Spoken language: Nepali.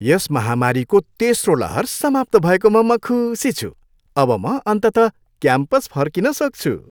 यस महामारीको तेस्रो लहर समाप्त भएकोमा म खुसी छु। अब म अन्ततः क्याम्पस फर्किन सक्छु।